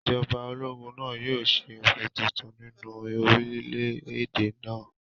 Ìjọba ológun náà yóò ṣe òfin tuntun nínú orílẹ̀-èdè náà